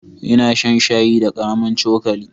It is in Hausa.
Ina shan shayi da karamin cokali.